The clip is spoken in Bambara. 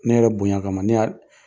Ne yɛrɛ bonya kama ne y'a